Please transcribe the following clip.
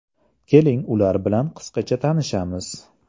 Keling, ular bilan qisqacha tanishamiz.